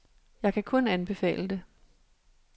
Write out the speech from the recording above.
Jeg kan kun anbefale det.